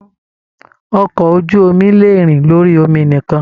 Ọkọ ojú omi lè rìn lórí omi nikan.